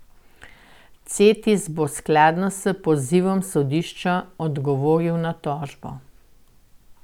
Cetis bo skladno s pozivom sodišča odgovoril na tožbo.